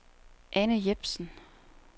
Ane Jepsen